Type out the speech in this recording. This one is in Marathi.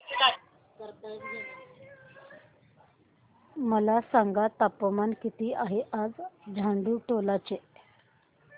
मला सांगा तापमान किती आहे आज झाडुटोला चे